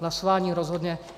Hlasování rozhodne.